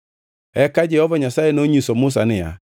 Eka Jehova Nyasaye nonyiso Musa niya,